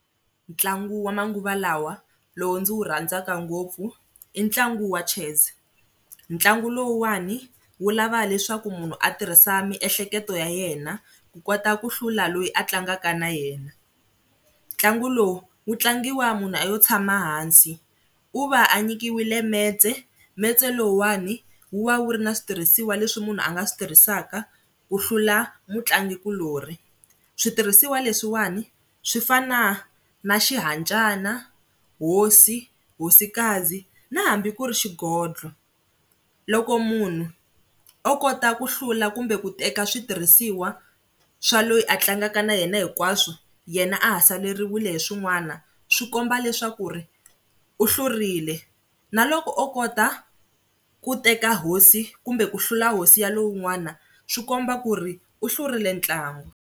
Ntlangu wa manguva lawa lowu ndzi wu rhandzaka ngopfu i ntlangu wa chess. Ntlangu lowuwani wu lava leswaku munhu a tirhisa miehleketo ya yena ku kota ku hlula loyi a tlangaka na yena. Ntlangu lowu wu tlangiwa munhu a yo tshama hansi, u va a nyikiwile metse metse lowuwani wa va wu ri na switirhisiwa leswi munhu a nga swi tirhisaka ku hlula mutlangikulorhi. Switirhisiwa leswiwani swi fana na xihancana, hosi, hosikazi na hambi ku ri xigondlo. Loko munhu o kota ku hlula kumbe ku teka switirhisiwa swa loyi a tlangaka na yena hinkwaswo yena a ha saleriwile hi swin'wana swi komba leswaku ri u hlurile. Na loko o kota ku teka hosi kumbe ku hlula hosi ya lowun'wana swi komba ku ri u hlurile ntlangu.